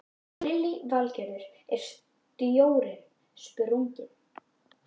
Lillý Valgerður: Er stjórnin sprungin?